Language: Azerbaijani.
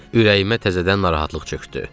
Ürəyimə təzədən narahatlıq çökdü.